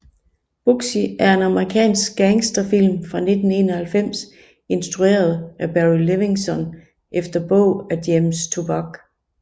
Bugsy er en amerikansk gangsterfilm fra 1991 instrueret af Barry Levinson efter bog af James Toback